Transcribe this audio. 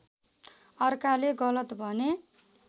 अर्काले गलत भने